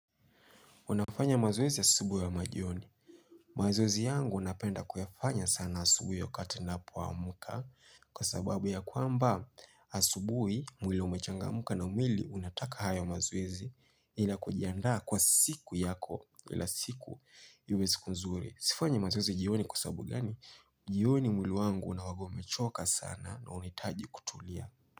Unafanya mazoezi asubu ama jioni. Mazoezi yangu unapenda kuyafanya sana asubuhi wakati ninapo amka kwa sababu ya kwamba asubuhi ya mwili umechangamka na mwili unataka haya mazoezi ila kujiandaa kwa siku yako ila siku iwe siku nzuri. Sifanyi mazwezi jioni kwa sababu gani, jioni mwili wangu hunawagomechoka sana na unitaji kutulia.